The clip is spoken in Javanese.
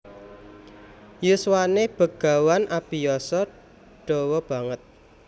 Yuswané Begawan abiyasa dawa banget